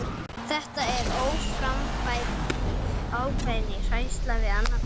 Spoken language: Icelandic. Þetta er óframfærni, ákveðin hræðsla við annað fólk.